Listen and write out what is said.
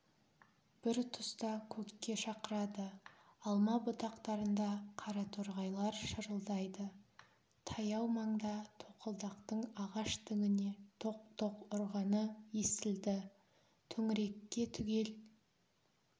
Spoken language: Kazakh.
бір тұста көкке шақырады алма бұтақтарында қараторғайлар шырылдайды таяу маңда тоқылдақтың ағаш діңіне тоқ-тоқ ұрғаны естілді төңірекке түгел